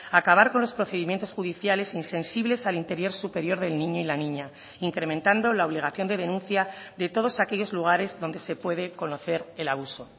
acabar con los procedimientos judiciales insensibles al interior superior del niño y la niña incrementando la obligación de denuncia de todos aquellos lugares donde se puede conocer el abuso